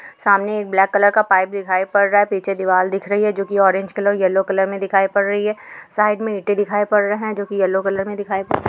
सामने एक black colour का पाइप दिखाई पड़ रहा है। पीछे दिवाल दिख रही हेै जो कि ऑरेंज कलर येलो कलर में दिखाई पड़ रही है। साइड मे ईंटें दिखाई पड़ रहे हैं जो के येलो कलर में दिखाई --